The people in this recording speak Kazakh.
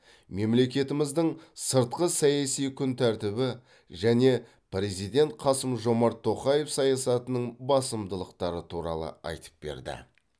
мемлекетіміздің сыртқы саяси күн тәртібі және президент қасым жомарт тоқаев саясатының басымдықтары туралы айтып берді